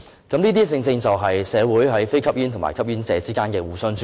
這些正正就是社會上，非吸煙和吸煙者之間的互相尊重。